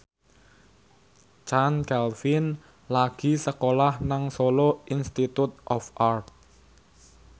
Chand Kelvin lagi sekolah nang Solo Institute of Art